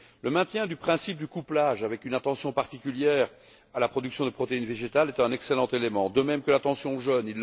Le maintien du principe du couplage, avec une attention particulière à la production de protéines végétales, est un excellent élément, de même que l'attention aux jeunes.